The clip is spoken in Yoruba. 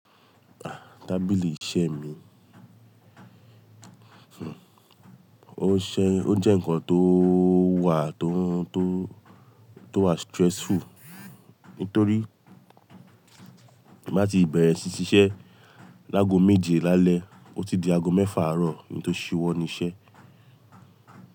Ah! Tábìlì iṣẹ́ mi, o ṣé, o jẹ́ ǹkan tó wà tó, tó, tó wà stressful nítorí màá ti bẹ̀rẹ̀ sí ṣiṣẹ́ láago méje lálẹ́, ó ti di aago mẹ́fà àárọ̀ ki n tó ṣíwọ́ níṣẹ́.